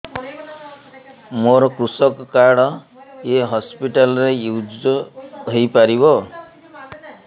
ମୋର କୃଷକ କାର୍ଡ ଏ ହସପିଟାଲ ରେ ୟୁଜ଼ ହୋଇପାରିବ